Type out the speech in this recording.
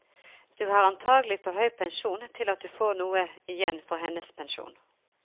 Du har antagelig for høy pensjon til at du får noe igjen for hennes pensjon.